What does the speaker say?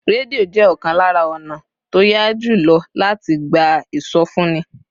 Rédíò jẹ́ ọ̀kan lára ọ̀nà tó yá jù lọ láti gba ìsọfúnni